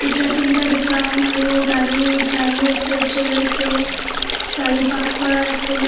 দুটা তিনি টা দোকান আৰু গাড়ী গাড়ী আছে চিয়াৰ আছে গাড়ী পাৰ্ক কৰা আছে.